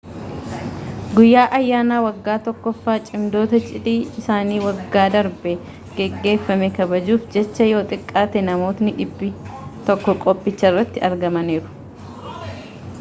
guyyaa ayyaana waggaa tokkoffaa cimdoota cidhi isaanii waggaa darbe geggeeffame kabajuuf jecha yoo xiqqaate namootni 100 qophicharratti argamaniiru